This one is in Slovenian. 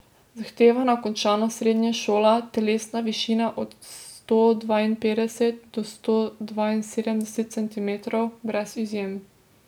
Zahtevana končana srednja šola, telesna višina od sto dvainpetdeset do sto dvainsedemdeset centimetrov, brez izjem.